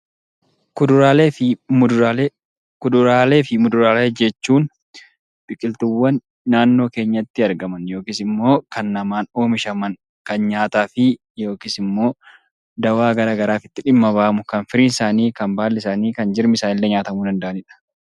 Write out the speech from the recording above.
Kuduraalee fi muduraalee jechuun biqiltuuwwan naannoo keenyatti argaman yookiin immoo kan namaan oomishaman yookiin immoo kan nyaataman yookiin immoo dawwaa garaa garaatiif dhimma itti ba'amu kan firiin isaanii, kan baalli isaanii fi kan jirmi isaaniillee nyaatamuu danda'aniidha.